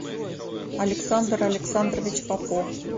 александр александрович попов